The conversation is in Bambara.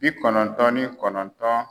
Bi kɔnɔntɔn ni kɔnɔntɔn.